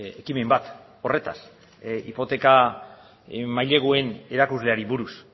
ekimen bat horretaz hipoteka maileguen erakusleari buruz